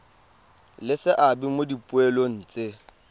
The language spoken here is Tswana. le seabe mo dipoelong tse